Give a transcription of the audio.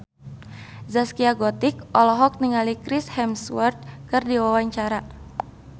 Zaskia Gotik olohok ningali Chris Hemsworth keur diwawancara